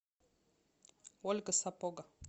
ольга сапога